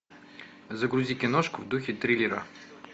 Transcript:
загрузи киношку в духе триллера